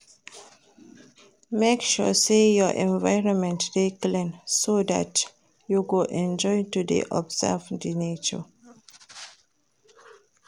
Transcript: Make sure say your environment de clean so that you go enjoy to de observe di nature